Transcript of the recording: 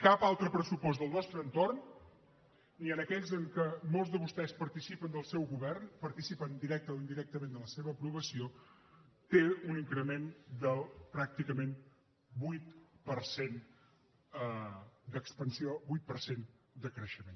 cap altre pressupost del nostre entorn ni en aquells en què molts de vostès participen del seu govern participen directament o indirectament de la seva aprovació té un increment del pràcticament vuit per cent d’expansió vuit per cent de creixement